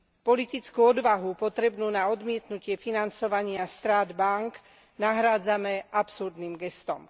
Politickú odvahu potrebnú na odmietnutie financovania strát bánk nahrádzame absurdným gestom.